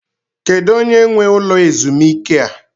Kedu onye nwe ụlọ ezumike a?